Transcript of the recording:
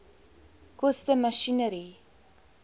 koste masjinerie